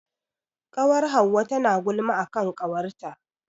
Ƙawar Hauwa tana gulma a kan ƙawarta.